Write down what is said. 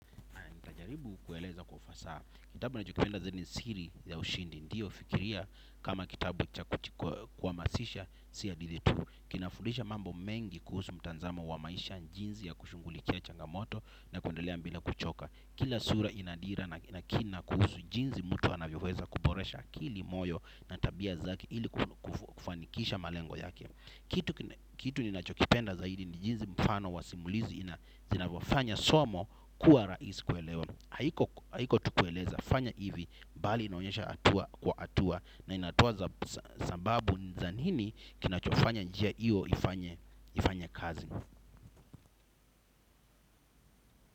Najaribu kueleza kufasaha, kitabu ninachokipenda zaidi ni siri ya ushindi, ndiyo fikiria kama kitabu kwa kuhamasisha, si hadithi tu. Kinafudisha mambo mengi kuhusu mtazamo wa maisha jinsi ya kushungulikia changamoto na kuendelea bila kuchoka. Kila sura inadira na kina kuhusu jinsi mtu anavyoweza kuboresha akili moyo na tabia zake ili kufanikisha malengo yake. Kitu ninachokipenda zaidi ni jinsi mfano wa simulizi zinavyofanya somo kuwa rahisi kuelewa. Haikuwa tu kueleza fanya hivi bali inaonyesha hatua kwa hatua na inatoa sababu za nini kinachofanya njia hiyo ifanye kazi.